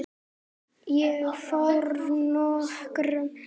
Ég fór nokkrum sinnum.